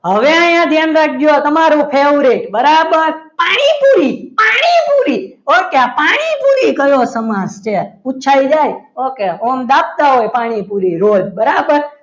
પ હવે અહીંયા ધ્યાન રાખજો તમારો favourite બરાબર અહી બી પાણીપુરી ઓકે આ પાણીપુરી કયો સમાસ છે પૂછાઈ જાય okay આમ દાબતા હોય પાણીપુરી રોજ બરાબર હવે અહીંયા ધ્યાન રાખજો